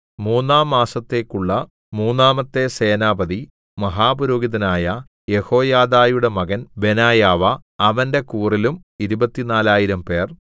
മൂന്നാം മാസത്തേക്കുള്ള മൂന്നാമത്തെ സേനാപതി മഹാപുരോഹിതനായ യെഹോയാദയുടെ മകൻ ബെനായാവ അവന്റെ കൂറിലും ഇരുപത്തിനാലായിരംപേർ 24000